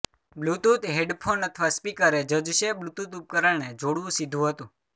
Bluetooth headphone અથવા speaker એ જજ છે બ્લૂટૂથ ઉપકરણને જોડવું સીધું હતું